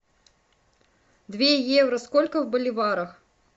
две евро сколько в боливарах